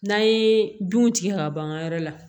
N'an ye dun tigɛ ka ban an ka yɔrɔ la